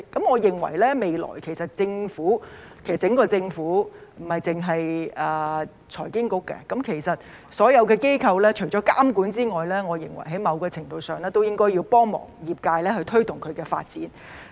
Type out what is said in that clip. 我認為未來整個政府，不單是財經事務及庫務局——其實所有的機構除了監管外，在某程度上應該幫助推動業界發展。